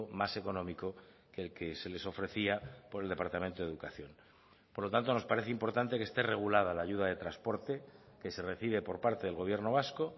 más económico que el que se les ofrecía por el departamento de educación por lo tanto nos parece importante que esté regulada la ayuda de transporte que se recibe por parte del gobierno vasco